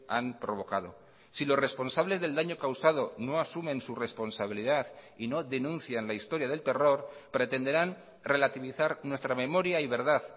han provocado si los responsables del daño causado no asumen su responsabilidad y no denuncian la historia del terror pretenderán relativizar nuestra memoria y verdad